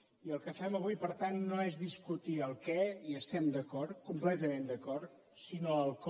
i el que fem avui per tant no és discutir el què hi estem d’acord completament d’acord sinó el com